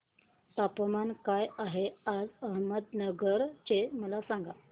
तापमान काय आहे आज अहमदनगर चे मला सांगा